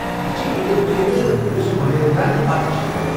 یہِ چھِ عید الفطر، یوٚس ماہ رمضان پتہٕ چھِ یِوان۔